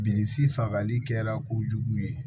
Bilisi fagali kɛra kojugu ye